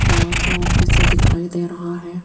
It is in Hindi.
बड़ा सा ऑफिस दिखाई दे रहा है।